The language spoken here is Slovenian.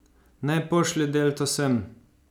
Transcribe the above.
Naj pošlje Delto sem.